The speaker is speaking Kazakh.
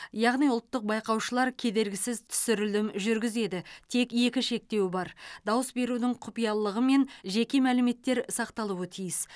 яғни ұлттық байқаушылар кедергісіз түсірілім жүргізеді тек екі шектеу бар дауыс берудің құпиялылығы мен жеке мәліметтер сақталуы тиіс